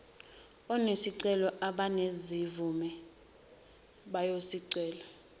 onesicelo abanezimvume bayobukwa